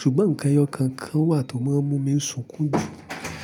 Ṣùgbọ́n nǹkan ẹyọ kankan wà tó máa ń mú mi sunkún jù.